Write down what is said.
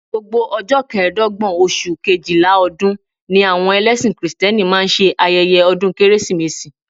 Gbogbo ọjọ́ kẹẹ̀dọ́gbọ̀n oṣù Kejìlá ọdún ni àwọn ẹlẹ́sìn kìrìtẹ́nì máa ń ṣe ayẹyẹ ọdún Kérésìmesì